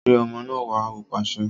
Gbé ọmọ náà wá! Ó pàṣẹ